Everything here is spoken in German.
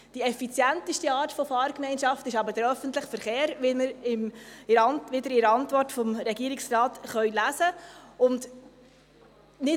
Die effizienteste Art von Fahrgemeinschaft ist aber der öffentliche Verkehr, wie Sie in der Antwort des Regierungsrates lesen können.